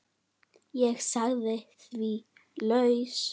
Ég sagði því lausu.